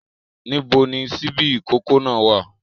Níbo ni ṣíbí ìkókó náà wá à?